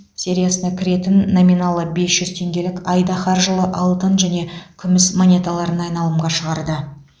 сериясына кіретін номиналы бес жүз теңгелік айдаһар жылы алтын және күміс монеталарын айналымға шығарды